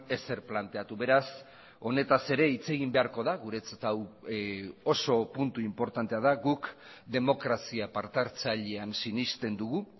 ezer planteatu beraz honetaz ere hitz egin beharko da guretzat hau oso puntu inportantea da guk demokrazia partehartzailean sinesten dugu